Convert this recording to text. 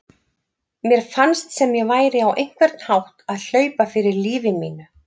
Mér fannst sem ég væri á einhvern hátt að hlaupa fyrir lífi mínu.